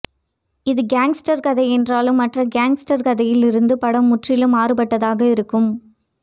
இது கேங்ஸ்டர் கதை என்றாலும் மற்ற கேங்ஸ்டர் கதைகளிலிருந்து இப்படம் முற்றிலும் மாறுபட்டதாக இருக்கும்